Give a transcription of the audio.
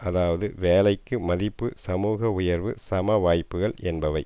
அதாவது வேலைக்கு மதிப்பு சமூக உயர்வு சம வாய்ப்புக்கள் என்பவை